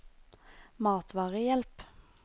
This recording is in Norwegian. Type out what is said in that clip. matvarehjelp